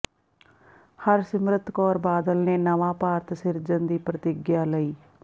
ਹਰਸਿਮਰਤ ਕੌਰ ਬਾਦਲ ਨੇ ਨਵਾਂ ਭਾਰਤ ਸਿਰਜਣ ਦੀ ਪ੍ਰਤਿੱਗਿਆ ਲਈ